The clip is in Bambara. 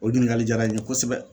O ɲininkali jara n ye kosɛbɛ